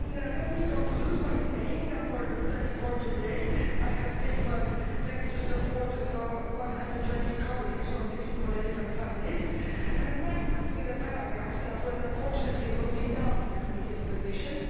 Let me conclude by saying that, for this report today, I have tabled, thanks to the support of 120 colleagues from different political families, an amendment with a paragraph which was unfortunately voted down in the Committee on Petitions.